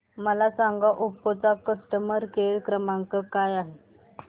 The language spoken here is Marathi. मला सांगा ओप्पो चा कस्टमर केअर क्रमांक काय आहे